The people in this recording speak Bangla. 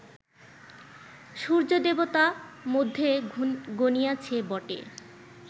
সূর্য্য-দেবতা মধ্যে গণিয়াছি বটে